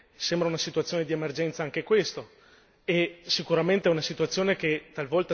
vi sono dei flussi migratori cospicui e sembra una situazione di emergenza anche questo.